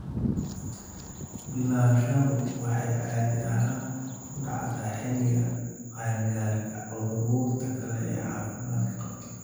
Bilaabashadu waxay caadi ahaan ku dhacdaa xilliga qaan-gaarka ee carruurta kale ee caafimaadka qabta.